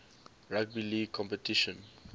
rugby league competition